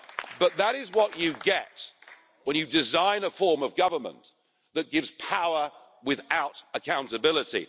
But that is what you get when you design a form of government that gives power without accountability.